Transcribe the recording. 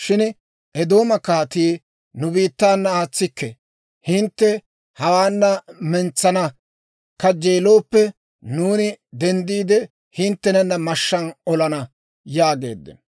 Shin Eedooma kaatii, «Nu biittaana aatsikke; hintte hawaana mentsana kajjeelooppe, nuuni denddiide hinttena mashshaan olana» yaageeddino.